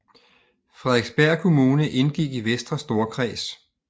Frederiksberg Kommune indgik i Vestre Storkreds